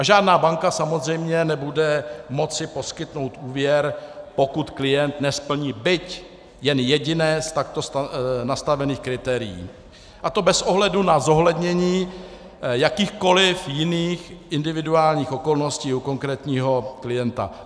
A žádná banka samozřejmě nebude moci poskytnout úvěr, pokud klient nesplní byť jen jediné z takto nastavených kritérií, a to bez ohledu na zohlednění jakýchkoli jiných individuálních okolností u konkrétního klienta.